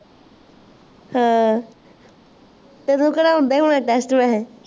ਹਾਂ ਤੈਨੂੰ ਕੇੜਾ ਆਉਂਦਾ ਹੀ ਹੋਣਾ test ਕਿਥੇ